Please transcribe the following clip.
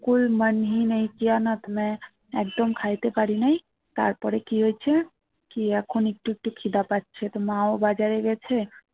একদম খাইতে পারি নাই তারপরে কি হয়েছে কি এখন একটু একটু খিদা পাচ্ছে তো মা ও বাজারে গেছে